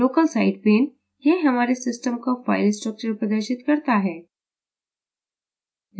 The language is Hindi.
local site pane – यह हमारे system का फ़ाइल structure प्रदर्शित करता है